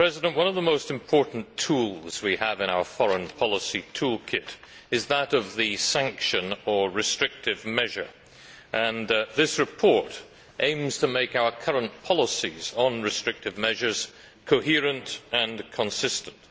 One of the most important tools we have in our foreign policy toolkit is that of the sanction or restrictive measure, and this report aims to make our current policies on restrictive measures coherent and consistent.